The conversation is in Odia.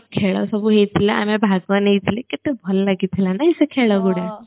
ଖେଳ ସବୁ ହେଇଥିଲା ଆମେ ଭାଗ ନେଇଥିଲେ କେତେ ଭଲ ଲାଗିଥିଲେ ନାହିଁ ସେ ଖେଳ ଗୁଡ଼େ